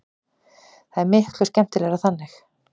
Það er miklu skemmtilegra þannig.